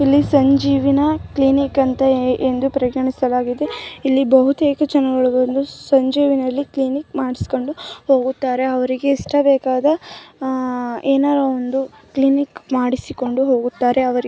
ಇಲ್ಲಿ ಸಂಜೀವಿನಿ ಕ್ಲಿನಿಕ್ ಎಂದು ಪರಿಗಣಿಸಲಾಗಿದೆ ಇಲ್ಲಿ ಬಹುತೇಕ ಜನರು ಬಂದುಸಂಜೀವಿನಿ ಕ್ಲಿನಿಕ್ ಮಾಡಿಸಿಕೊಂಡು ಹೋಗುತ್ತಾರೆ ಅವರಿಗೆ ಏನಾದರೂ ಬೇಕಾದ ಕ್ಲಿನಿಕ್ ಮಾಡಿಸಿಕೊಂಡು ಹೋಗುತ್ತಾರೆ.